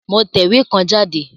Mo tẹ̀wé kan jáde